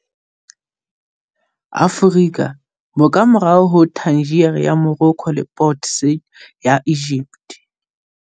Aforika, bo ka morao ho Tangier ya Morocco le Port Said ya Egypt.